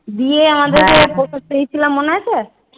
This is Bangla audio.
দিয়ে আমাদেরকে মনে আছে?